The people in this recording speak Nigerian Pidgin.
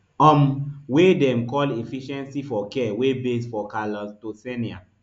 um wey dem call efficiency for care wey base for clactononsea